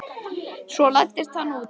Svo læddist hann út.